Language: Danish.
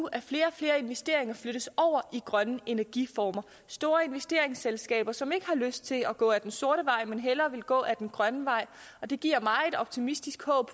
at flere og flere investeringer flyttes over i grønne energiformer af store investeringsselskaber som ikke har lyst til at gå ad den sorte vej men hellere vil gå ad den grønne vej det giver megen optimisme og